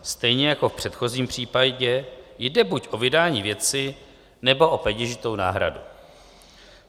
Stejně jako v předchozím případě jde buď o vydání věci, nebo o peněžitou náhradu.